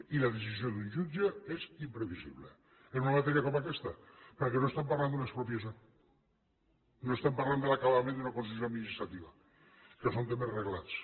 i la decisió d’un jutge és imprevisible en una matèria com aquesta perquè no estem parlant d’una expropiació no estem parlant de l’acabament d’una concessió administrativa que són temes reglats